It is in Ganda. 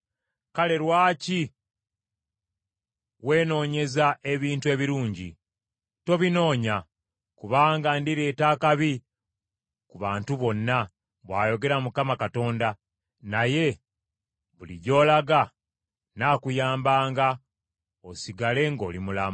Kale lwaki weenoonyeza ebintu ebirungi? Tobinoonya. Kubanga ndireeta akabi ku bantu bonna, bw’ayogera Mukama Katonda, naye buli gy’olaga nnaakuyambanga osigale ng’oli mulamu.’ ”